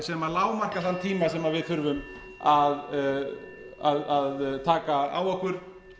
sem lágmarka þann tíma sem við þurfum að taka á okkur